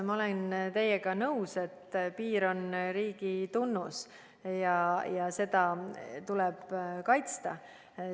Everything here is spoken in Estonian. Ma olen teiega nõus, et piir on riigi tunnus ja seda tuleb kaitsta.